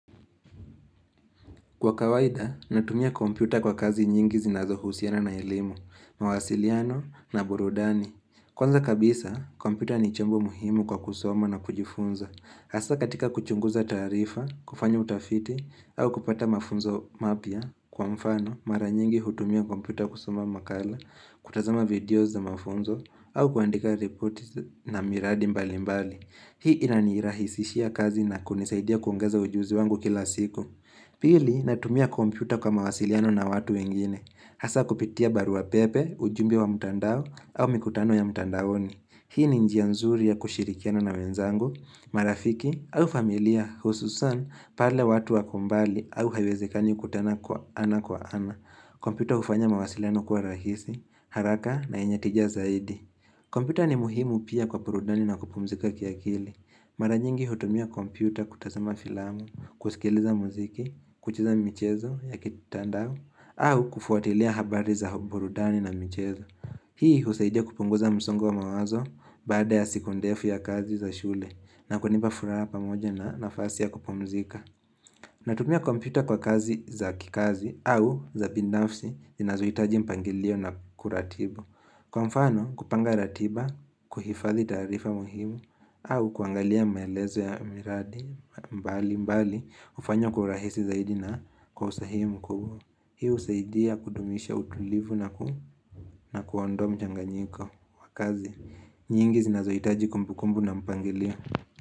Kwa kawaida, natumia kompyuta kwa kazi nyingi zinazohusiana na elimu, mawasiliano na burudani. Kwanza kabisa, kompyuta ni chombo muhimu kwa kusoma na kujifunza. Asa katika kuchunguza tarifa, kufanyo utafiti, au kupata mafunzo mapia kwa mfano, mara nyingi hutumia kompyuta kusoma makala, kutazama videos na mafunzo, au kuandika report na miradi mbali mbali. Hii inanirahisishia kazi na kunisaidia kuongeza ujuzi wangu kila siku. Pili natumia kompyuta kwa mawasiliano na watu wengine. Hasa kupitia baruwa pepe, ujumbe wa mutandao au mikutano ya mutandaoni. Hii ni njia nzuri ya kushirikiano na wenzangu, marafiki au familia hususan pale watu wako mbali au hayiwezekani kutana kwa ana kwa ana. Kompyuta ufanya mawasiliano kuwa rahisi, haraka na yenye tija zaidi. Kompyuta ni muhimu pia kwa purudani na kupumzika kiakili. Mara nyingi hutumia kompyuta kutazama filamu, kusikiliza muziki, kucheza michezo ya kitandao, au kufuatilia habari za burudani na michezo. Hii husaidia kupunguza msongo wa mawazo baada ya siku ndefu ya kazi za shule na kuniba furara pamoja na nafasi ya kupumzika. Natumia kompyuta kwa kazi za kikazi au za pinafsi zinazohitaji mpangilio na kuratibu. Kwa mfano kupanga ratiba, kuhifadhi tarifa muhimu au kuangalia maelezo ya miradi mbali mbali Ufanywa kurahisi zaidi na kwa usahi mkubwa Hii usaidia kudumisha utulivu na kuundoa mchanganyiko wakazi nyingi zinazoitaji kumbukumbu na mpangilio.